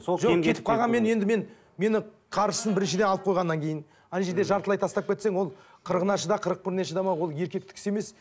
жоқ кетіп қалғанмен енді мен мені қаржысын біріншіден алып қойғаннан кейін ана жерде жартылай тастап кетсең ол қырығына шыда қырық біріне шыдамау ол еркектік іс емес